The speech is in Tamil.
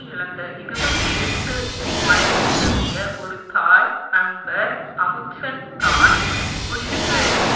இழந்த இருபத்தி எட்டு வயது நிரம்பிய ஒரு தாய் அம்பர் அமுத்சென் தான் புஷ்க்கு எழுதிய